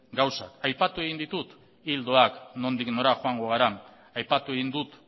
gauzak aipatu egin ditut ildoak nondik nora joango garen aipatu egin dut